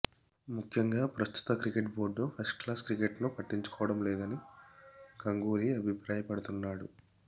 ముఖ్యంగా ప్రస్తుతం cricket board first class క్రికెట్ను పట్టంచుకోవడం లేదని గంగూలీ అభిప్రాయపడుతున్నాడు